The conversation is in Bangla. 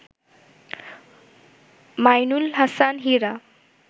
মাইনুল হাসান হীরা